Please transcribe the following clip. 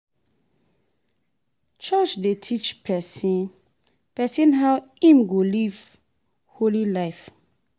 Church dey teach pesin pesin how im go live holy life.